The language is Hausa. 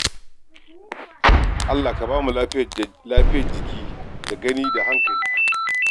Allah ka ba mu lafiyar jiki da gani da hankali da tunani